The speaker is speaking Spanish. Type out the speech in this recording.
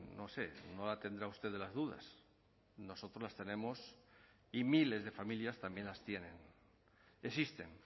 no sé no la tendrá usted de las dudas nosotros las tenemos y miles de familias también las tienen existen